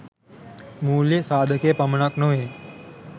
මූල්‍ය සාධකය පමණක් නොවේ